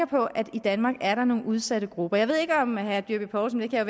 på at i danmark er der nogle udsatte grupper jeg ved ikke om herre dyrby paulsen er klar